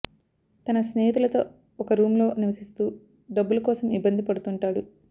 తన స్నేహితులతో ఒక రూమ్ లో నివసిస్తూ డబ్బులు కోసం ఇబ్బంది పడుతుంటాడు